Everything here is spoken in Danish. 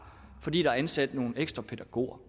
fordi der er blevet ansat nogle ekstra pædagoger